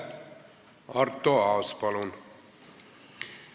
Arto Aas, palun!